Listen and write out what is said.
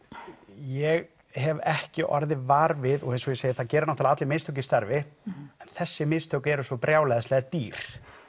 ég hef ekki orðið var við og eins og ég segi þá gera náttúrulega allir mistök í starfi en þessi mistök eru svo brjálæðislega dýr